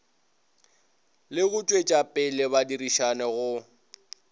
le go tšwetšapele badirišani go